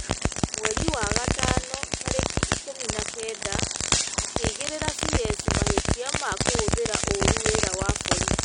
mweri wa gatano, tarĩki ikũmi na kenda, akĩigĩrĩra CS mahĩtia ma kũhũthĩra ũũru wĩra wa borithi ,